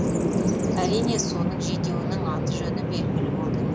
әзірге соның жетеуінің аты жөні белгілі болды